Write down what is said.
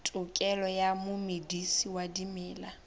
tokelo ya momedisi wa dimela